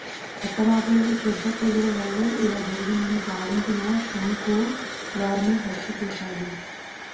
అత్తమామల క్షుద్ర పూజల వల్లే ఇలా జరిగిందని భావించిన శంఖు వారిని హత్య చేశాడు